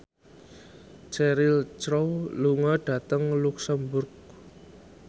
Cheryl Crow lunga dhateng luxemburg